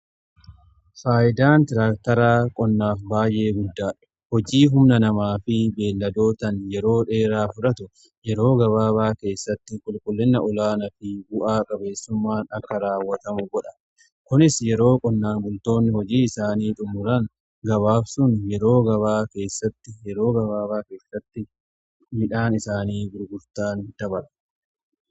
Faayidaan tiraaktaraa qonnaa baay'ee guddaadha. hojii humna namaa fi beelladootan yeroo dheeraa fudhatu yeroo gabaabaa keessatti qulqullina olaanaa fi bu'aa qabeessummaan akka raawwatamu godha. Kunis yeroo qonnaan bultoonni hojii isaanii xumuran yeroo gabaabaa keessatti midhaan isaanii gurguratan dabala.